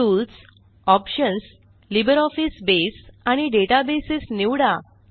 tools options LibreOffice Base आणि database निवडा